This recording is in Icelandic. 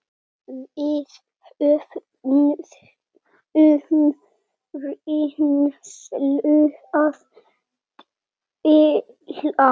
Við höfðum reynslu að deila.